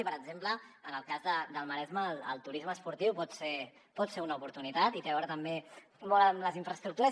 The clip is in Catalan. i per exemple en el cas del maresme el turisme esportiu pot ser una oportunitat i té a veure també molt amb les infraestructures